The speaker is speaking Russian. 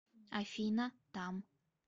афина там